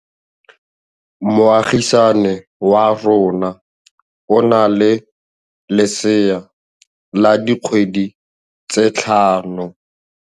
Moagisane wa rona o na le lesea la dikgwedi tse tlhano.